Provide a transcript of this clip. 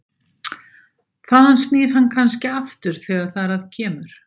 Þaðan snýr hann kannski aftur þegar þar að kemur.